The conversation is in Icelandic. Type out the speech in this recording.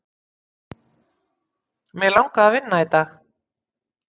Mig langaði að vinna í dag.